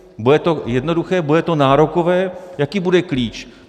Bude to jednoduché, bude to nárokové, jaký bude klíč?